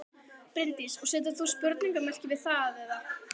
Bryndís: Og setur þú spurningamerki við það eða?